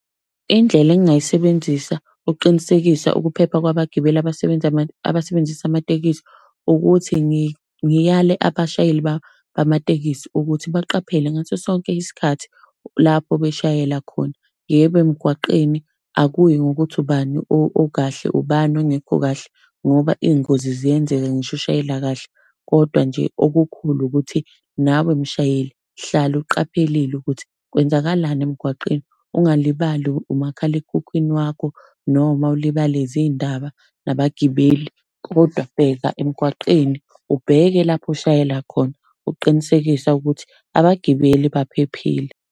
Indlela engingayisebenzisa ukuqinisekisa ukuphepha kwabagibeli abasebenzisa amatekisi ukuthi ngiyale abashayeli bamatekisi ukuthi baqaphele ngaso sonke isikhathi lapho beshayela khona. Yebo, emgwaqeni akuyi ngokuthi ubani okahle, ubani ongekho kahle ngoba iy'ngozi ziyenzeka ngisho ushayela kahle. Kodwa nje okukhulu ukuthi nawe mshayele hlale uqaphelile ukuthi kwenzakalani emgwaqeni. Ungalibali umakhalekhukhwini wakho noma ulibale zindaba nabagibeli, kodwa bheka emgwaqeni, ubheke lapho oshayela khona, uqinisekisa ukuthi abagibeli baphephile.